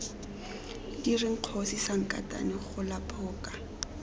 direng kgosi sankatane gola phoka